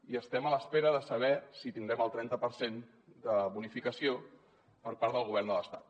i estem a l’espera de saber si tindrem el trenta per cent de bonificació per part del govern de l’estat